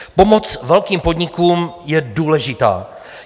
Pomoc velkým podnikům je důležitá.